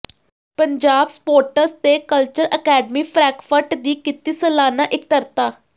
Punjab sports ਤੇ culture academy Frankfurt ਦੀ ਕੀਤੀ ਸਾਲਾਨਾ ਇਕੱਤਰਤਾ